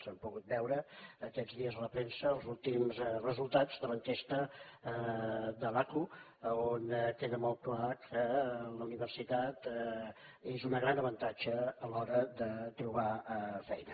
hem pogut veure aquests dies a la premsa els últims resultats de l’enquesta de l’aqu on queda molt clar que la universitat és un gran avantatge a l’hora de trobar feina